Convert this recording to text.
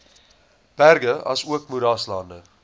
berge asook moeraslande